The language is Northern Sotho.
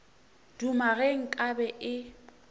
duma ge nka be e